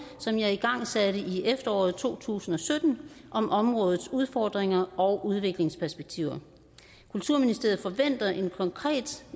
som jeg igangsatte i efteråret to tusind og sytten om områdets udfordringer og udviklingsperspektiver kulturministeriet forventer en konkret